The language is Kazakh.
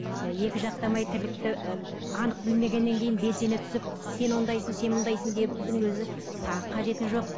екі жақтамай тірлікті і анық білмегеннен кейін белсене түсіп сен ондайсың сен мұндайсың деудің өзі тағы қажеті жоқ